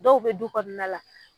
Dɔw be du kɔnɔna la